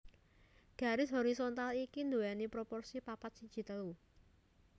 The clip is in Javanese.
Garis horizontal iki nduwèni proporsi papat siji telu